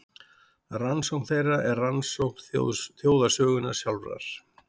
Rannsókn þeirra er rannsókn þjóðarsögunnar sjálfrar.